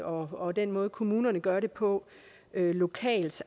og den måde kommunerne gør det på lokalt